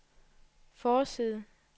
forside